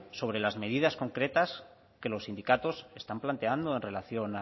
sobre las medidas concretas que los sindicatos están planteando en relación